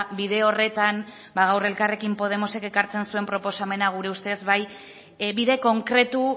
bide horretan ba gaur elkarrekin podemosek ekartzen zuen proposamena gure ustez bide konkretu